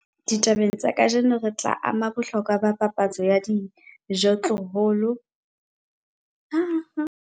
Ditabeng tsa kajeno re tla ama bohlokwa ba papatso ya dijothollo le ho hlwaya maqheka a ka sebediswang ho phethahatsa moralo wa papatso o ka sebediswang ke dihwai.